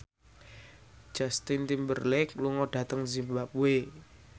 Justin Timberlake lunga dhateng zimbabwe